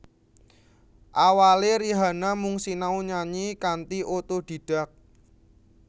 Awalé Rihanna mung sinau nyanyi kanthi otodidak